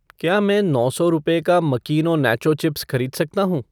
क्या मैं नौ सौ रुपये का मकीनो नाचो चिप्स खरीद सकता हूँ ?